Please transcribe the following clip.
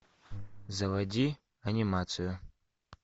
заводи анимацию